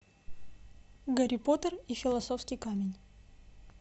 гарри поттер и философский камень